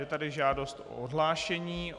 Je tady žádost o odhlášení.